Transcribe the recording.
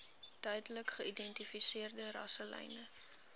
duidelik geïdentifiseerde rasselyne